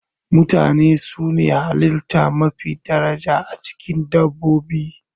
Mutane su ne halitta mafi daraja, a cikin dabbobi.